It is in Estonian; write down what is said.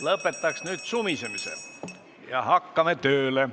Lõpetaks nüüd sumisemise ja hakkame tööle!